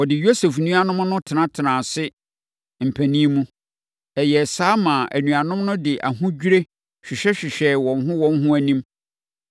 Wɔde Yosef nuanom no tenatenaa ase mpanin mu. Ɛyɛɛ saa maa anuanom no de ahodwirie hwehwɛhwehwɛɛ wɔn ho wɔn ho anim.